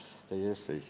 Aitäh!